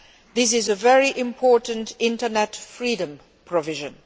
This is a very important internet freedom provision.